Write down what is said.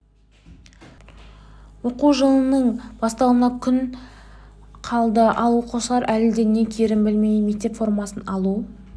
жаңа оқу жылының басталуына күн қалды ал оқушылар әлі де не киерін білмейді мектеп формасын алу